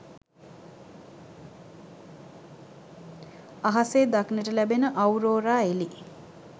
අහසේ දක්නට ලැබෙන අවුරෝරා එළි